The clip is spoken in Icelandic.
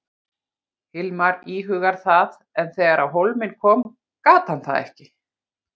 Hilmar íhugaði það en þegar á hólminn kom gat hann það ekki.